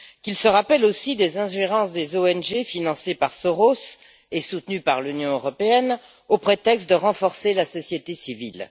Qu'ils se rappellent aussi des ingérences des ONG financées par Georges Soros et soutenues par l'Union européenne, au prétexte de renforcer la société civile.